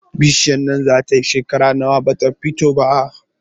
Bishiyar nan zata yi shekera nawa bata fito ba?